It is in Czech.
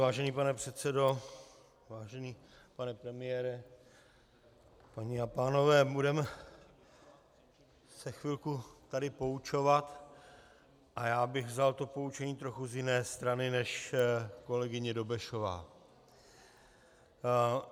Vážený pane předsedo, vážený pane premiére, paní a pánové, budeme se chvilku tady poučovat a já bych vzal to poučení z trochu jiné strany než kolegyně Dobešová.